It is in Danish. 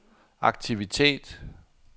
aktivitet